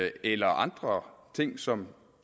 eller andre ting som